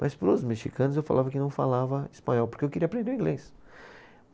Mas para os mexicanos eu falava que não falava espanhol, porque eu queria aprender o inglês.